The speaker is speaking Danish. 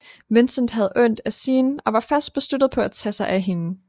Vincent havde ondt af Sien og var fast besluttet på at tage sig af hende